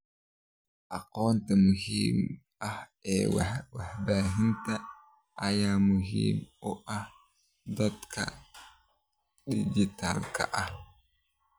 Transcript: Aqoonta muhiimka ah ee warbaahinta ayaa muhiim u ah da'da dhijitaalka ah.